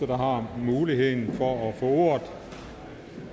der har muligheden for at få ordet